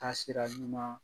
Taasira ɲuman